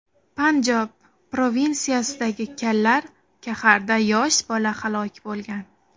Panjob provinsiyasidagi Kallar Kaxarda yosh bola halok bo‘lgan.